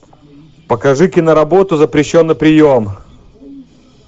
покажи киноработу запрещенный прием